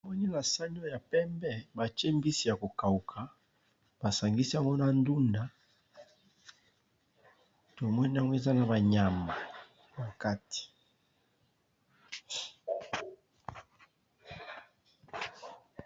Namoni saani ya pembe batiye nakati mbisi yakokauka namoni basangisi yango na bamisuni